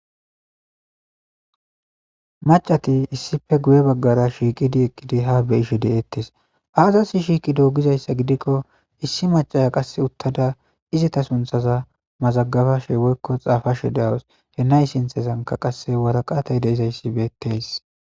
macati issife guye baggara shiiqidi eqqidi ha beyishe de7ettes aazasi shiiqidoo gizayssa gidikko issi macaya qasse uttada izita sunthaza mazagabashee woykko xaafashe de7us henayi sinthezanka qasse waraqatey deizayssi beetteys